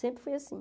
Sempre foi assim.